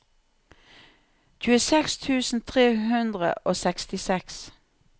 tjueseks tusen tre hundre og sekstiseks